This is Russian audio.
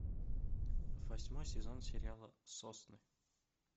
восьмой сезон сериала сосны